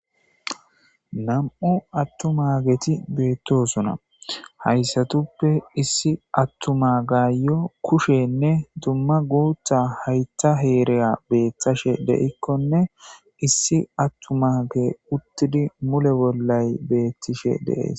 Nam7u attumageti beettosona haysatuppe issi attumagayo kushenne dumma guutha haytha heera beetashe de7ikkonne issi attumagey uttidi mule bollay beettishe de7ees.